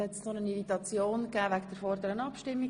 Es gab eine Irritation wegen der vorherigen Abstimmung.